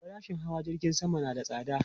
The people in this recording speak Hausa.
Farashin hawa jirgin sama na da tsada